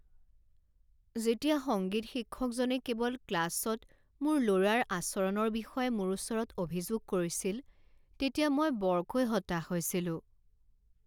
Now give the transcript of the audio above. যেতিয়া সংগীত শিক্ষকজনে কেৱল ক্লাছত মোৰ ল'ৰাৰ আচৰণৰ বিষয়ে মোৰ ওচৰত অভিযোগ কৰিছিল তেতিয়া মই বৰকৈ হতাশ হৈছিলোঁ।